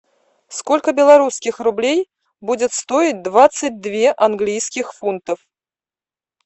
сколько белорусских рублей будет стоить двадцать две английских фунтов